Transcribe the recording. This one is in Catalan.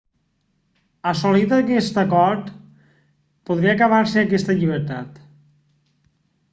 assolit aquest acord podria acabar-se aquesta llibertat